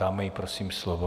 Dáme jí prosím slovo.